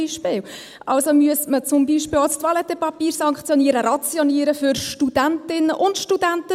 Also müsste man zum Beispiel auch das Toilettenpapier sanktionieren, rationieren für Studentinnen und Studenten.